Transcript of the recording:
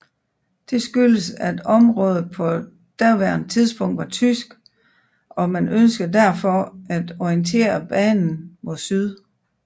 Dette skyldtes at området på daværende tidspunkt var tysk og man ønskede derfor at orientere banen mod syd